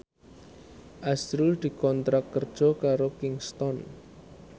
azrul dikontrak kerja karo Kingston